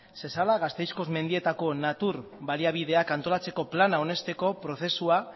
zezala gasteizko mendietako natur baliabideak antolatzeko plana onesteko prozesua